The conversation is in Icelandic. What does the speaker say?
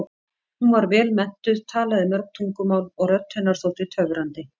Hún var vel menntuð, talaði mörg tungumál og rödd hennar þótti töfrandi.